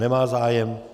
Nemá zájem.